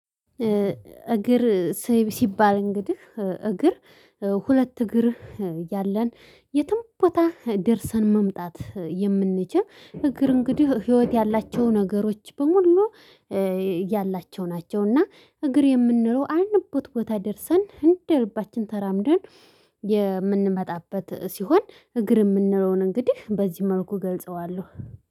እግር ሰይብ ሲባል እንግዲህ እግር ሁለት እግር ያለን የትም ቦታ ደርሰን መምጣት የምንችል እግር እንግዲህ ህይወት ያላቸው ነገሮች በሙሉ። ያላቸው ናቸውና እግር የምንለው አልንበት ቦታ ደርሰን እንደ ልባችን ተራምደን። የምንመጣበት ሲሆን እግር የምንለውን እንግዲህ በዚህ መልኩ እገልጸዋለሁ።